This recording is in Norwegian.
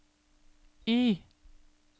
Y